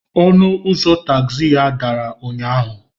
Ọnụ ụzọ tagzi ya dara ụnyahụ.